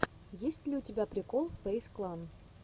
есть ли у тебя прикол фэйз клан